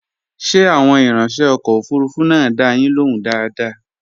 Ṣé àwọn ìrańṣẹ́ ọkọ̀ òfurufú náà dá a yín lóhùn dáadáa?